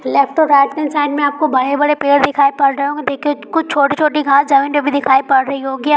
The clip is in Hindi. लेफ्ट और राइट हैंड साइड मे बड़े बड़े पेड़ दिखाई पड़ रहे होंगे देखिये कुछ छोटी छोटी घास जमीन पर भी दिखाई पड़ रही होंगी।